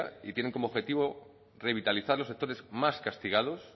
y tienen como objetivo revitalizar los sectores más castigados